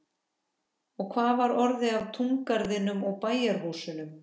Og hvað var orðið af túngarðinum og bæjarhúsunum?